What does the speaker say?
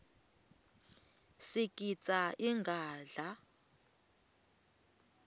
sigidza ingadla